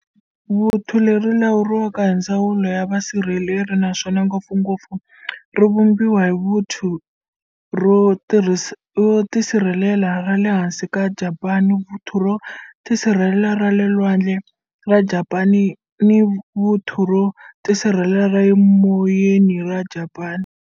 Vuthu leri ri lawuriwa hi ndzawulo ya vusirheleri, naswona ngopfungopfu ri vumbiwa hi vuthu ro tisirhelela ra le hansi ra Japani, vuthu ro tisirhelela ra le lwandle ra Japani ni vuthu ro tisirhelela ra le moyeni ra Japani.